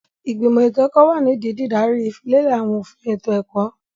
Ìgbìmọ̀ ètò ẹ̀kọ́ wà nídìí dídaríi ìfilélẹ̀ àwọn òfin ètò ẹ̀kọ́.